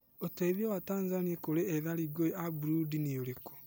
ũteeithio wa Tanzania kũrĩ ethari ngũĩ a Burundi nĩ ũrĩkũ?